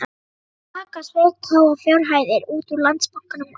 Jói kaka sveik háar fjárhæðir út úr Landsbankanum á